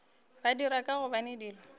ba dira ka gobane dilo